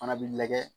Fana bi lajɛ